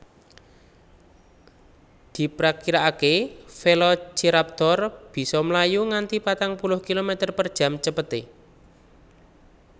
Diprakiraakè Velociraptor bisa mlayu nganti patang puluh kilometer per jam cepetè